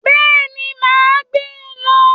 Béeni, ma a gbe lo